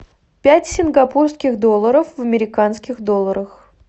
пять сингапурских долларов в американских долларах